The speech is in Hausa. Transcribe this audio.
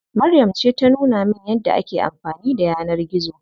Maryam ce ta nuna min yadda ake amfani da yanar gizo.